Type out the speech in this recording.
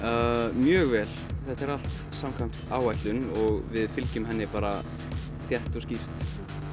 mjög vel þetta er allt samkvæmt áætlun og við fylgjum henni bara þétt og skýrt